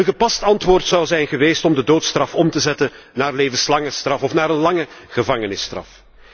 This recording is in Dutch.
Een gepast antwoord zou zijn geweest om de doodstraf om te zetten naar een levenslange straf of naar een lange gevangenisstraf.